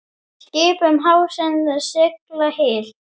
Skip um hafsins sigla hyl.